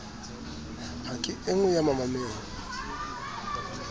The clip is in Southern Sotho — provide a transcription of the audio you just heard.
ha ke enngwe ya mamaneo